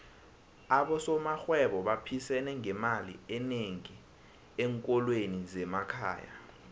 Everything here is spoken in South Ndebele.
abosomarhwebo baphisene ngemali enengi enkolweni zemakhaya